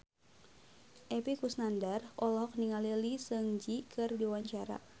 Epy Kusnandar olohok ningali Lee Seung Gi keur diwawancara